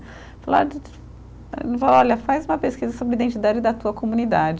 Falou, olha, faz uma pesquisa sobre identidade da tua comunidade.